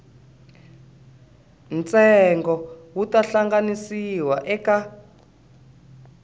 ntsengo wu ta hangalasiwa eka